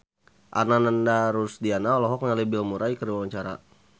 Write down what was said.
Ananda Rusdiana olohok ningali Bill Murray keur diwawancara